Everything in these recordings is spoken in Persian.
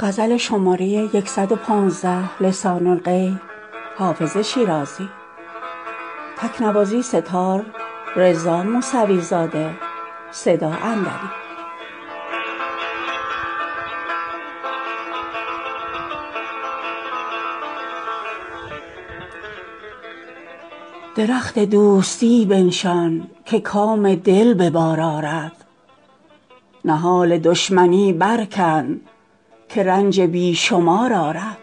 درخت دوستی بنشان که کام دل به بار آرد نهال دشمنی برکن که رنج بی شمار آرد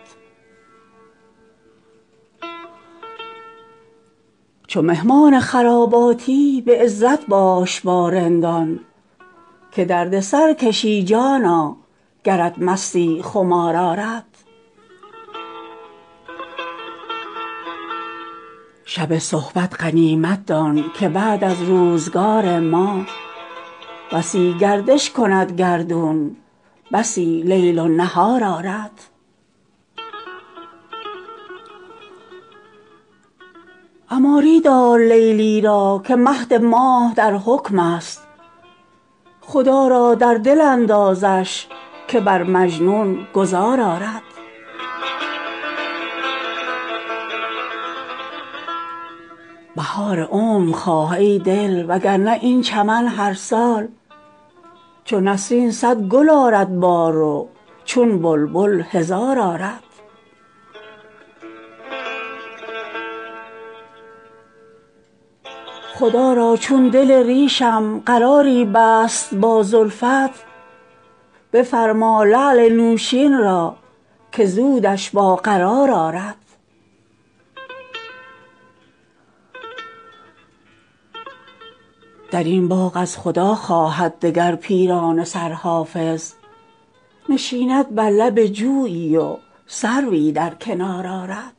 چو مهمان خراباتی به عزت باش با رندان که درد سر کشی جانا گرت مستی خمار آرد شب صحبت غنیمت دان که بعد از روزگار ما بسی گردش کند گردون بسی لیل و نهار آرد عماری دار لیلی را که مهد ماه در حکم است خدا را در دل اندازش که بر مجنون گذار آرد بهار عمر خواه ای دل وگرنه این چمن هر سال چو نسرین صد گل آرد بار و چون بلبل هزار آرد خدا را چون دل ریشم قراری بست با زلفت بفرما لعل نوشین را که زودش با قرار آرد در این باغ از خدا خواهد دگر پیرانه سر حافظ نشیند بر لب جویی و سروی در کنار آرد